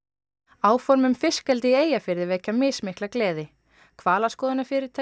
áform um fiskeldi í Eyjafirði vekja mismikla gleði hvalaskoðunarfyrirtæki